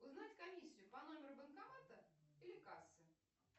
узнать комиссию по номеру банкомата или кассы